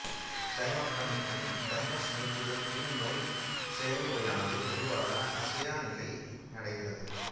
தைமக்டமிக்குப் தைமஸ் நீக்குதல் பின் நோய் செயல்முறையானது பொதுவாக அசையாநிலையடைகிறது